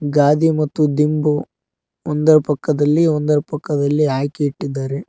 ಗಾದಿ ಮತ್ತು ದಿಂಬು ಒಂದರ ಪಕ್ಕದಲ್ಲಿ ಒಂದರ ಪಕ್ಕದಲ್ಲಿ ಹಾಕಿ ಇಟ್ಟಿದ್ದಾರೆ.